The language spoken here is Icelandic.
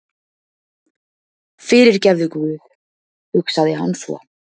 Fyrirgefðu guð, hugsaði hann svo.